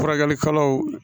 Furakɛlikɛlaw